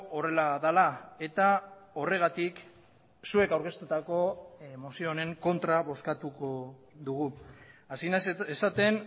horrela dela eta horregatik zuek aurkeztutako mozio honen kontra bozkatuko dugu hasi naiz esaten